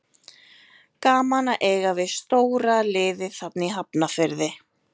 Gaman að eiga við stóra liðið þarna í Hafnarfirði.